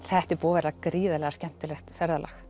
þetta er búið að vera gríðarlega skemmtilegt ferðalag